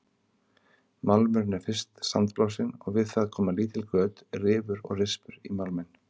Málmurinn er fyrst sandblásinn og við það koma lítil göt, rifur og rispur í málminn.